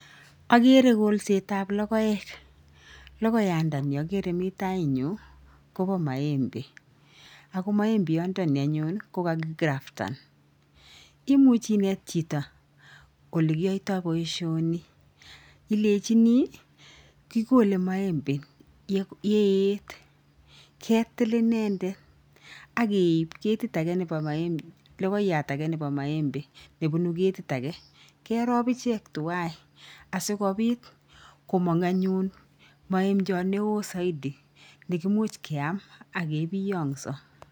Ageere kolsetab logoek, logoiyatandani ageere mi tainyun koba maembe ako maembechondoni anyun kokakikraftan. Imuchi inet chito olekiyaitoi boisioni, ilechini kikole maembe ndaet ketil inendet akeib ketit ake nebo logoiyatab maembe nebunu ketiti ake kerop tuwai asikopiit komang anyun maembchot neo zaidi nekimuuch keam ake piongso.